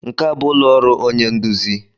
Nke a bụ ụlọ ọrụ onye nduzi.